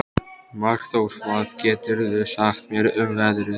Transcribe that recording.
Markþór, hvað geturðu sagt mér um veðrið?